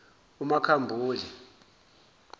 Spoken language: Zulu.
umakhambule